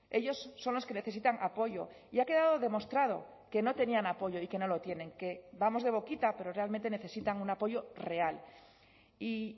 ellos son los que necesitan apoyo y ha quedado demostrado que no tenían apoyo y que no lo tienen que vamos de boquita pero realmente necesitan un apoyo real y